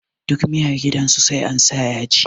Duk miyar gidan su sai ansa yaji